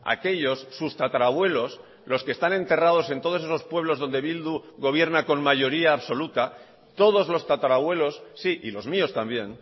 aquellos sus tatarabuelos los que están enterrados en todos esos pueblos donde bildu gobierna con mayoría absoluta todos los tatarabuelos sí y los míos también